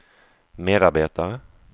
medarbetare